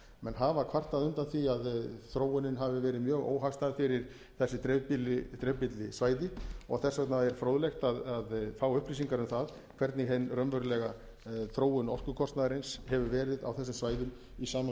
menn hafa kvartað undan því að þróunin hafi verið mjög óhagstæð fyrir þessi dreifbýlli svæði og þess vegna er fróðlegt að fá upplýsingar um það hvernig hin raunverulega þróun orkukostnaðarins hefur verið á þessum svæðum í samanburði við